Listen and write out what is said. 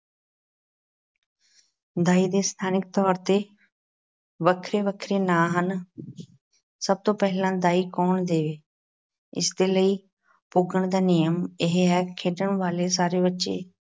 ਦਾਈ ਦੇ ਸਥਾਨਿਕ ਤੌਰ ਤੇ ਵੱਖਰੇ-ਵੱਖਰੇ ਨਾਂ ਹਨ ਸਭ ਤੋਂ ਪਹਿਲਾਂ ਦਾਈ ਕੌਣ ਦੇਵੇ? ਇਸ ਦੇ ਲਈ ਪੁੱਗਣ ਦਾ ਨਿਯਮ ਇਹ ਹੈ, ਖੇਡਣ ਵਾਲੇ ਸਾਰੇ ਬੱਚੇ